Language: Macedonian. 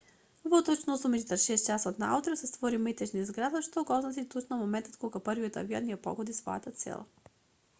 во точно 8:46 часот наутро се створи метеж низ градот што го означи точно моментот кога првиот авион ја погодил својата цел